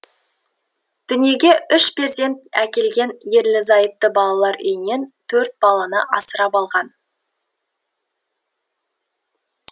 дүниеге үш перзент әкелген ерлі зайыпты балалар үйінен төрт баланы асырап алған